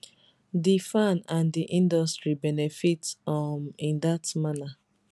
di fan and di industry benefit um in dat manner